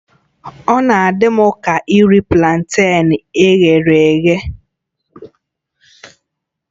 Ọ na-adị m ka iri planten e ghere eghe